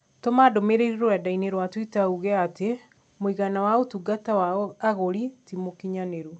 Tũma ndũmīrīri rũrenda-inī rũa tũita uuge atĩ mũigana wa ũtungata wa agũri ti mũkinyanĩru